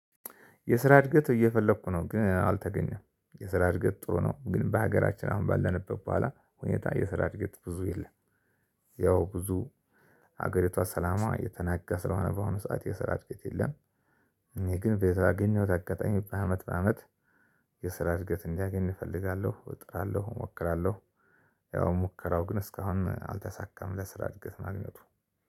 የስራ እድገት እየፈለኩ ነው ግን አልተገኘም። የስራ እድገት ጥሩ ነው ግን በሀገራችን አሁን ባለንበት በኋላ ሁኔታ የስራ እድገት ብዙ የለም። ያው ብዙ ሀገሪቷ ሰላሟ የተናጋ ስለሆነ በአሁኑ ሰዓት የስራ እድገት የለም። እኔ ግን በየት ባገኘሁት አጋጣሚ በአመት በአመት የስራ እድገት እንዲያገኝ እፈልጋለሁ፣ እጥራለሁ እሞክራለሁ ያው ሙከራው ግን እስካሁን አልተሳካም ለስራ እድገት ማግኘቱ